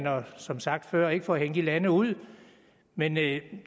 er som sagt før ikke for at hænge de lande ud men det